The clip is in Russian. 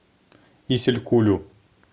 исилькулю